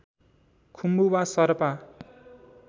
खुम्बु वा शरपा